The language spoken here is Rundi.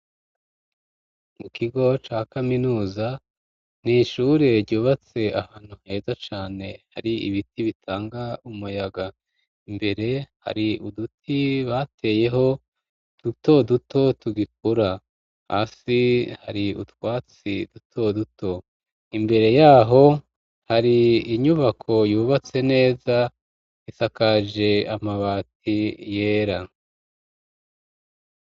Mu kigo ca kaminuza, ni ishure ryubatse, ahantu heza cane, hari ibiti bitanga umuyaga; imbere, hari uduti bateyeho, duto duto tugikura; hasi, hari utwatsi duto duto; imbere y'aho, hari inyubako yubatse neza, isakaje amabati yera.